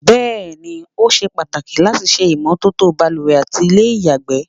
Bẹ́ẹ̀ ni, ó ṣe pàtàkì láti ṣe ìmọ́tótó baluwẹ̀ àti ilé ìyàgbẹ́.